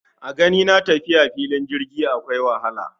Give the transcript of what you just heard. A ganina tafiya fillin jirgi akwai wahala